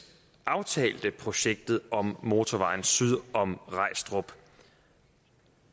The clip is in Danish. aftalte projektet om motorvejen syd om regstrup